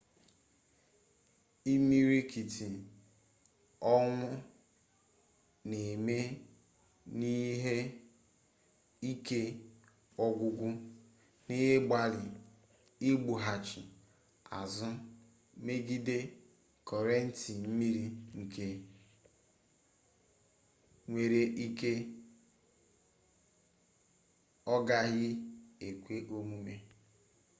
imirikiti ọnwụ na-eme n'ihi ike ọgwụgwụ n'ịgbalị igwughachi azụ megide kọrenti mmiri nke nwere ike ọ gaghị ekwe omume